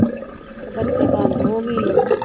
ਤੇ ਬੱਤੀ ਬੰਦ ਹੋਗੀਆਂ।